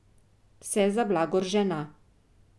Vse za blagor žena.